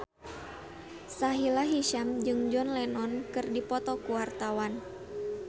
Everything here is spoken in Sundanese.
Sahila Hisyam jeung John Lennon keur dipoto ku wartawan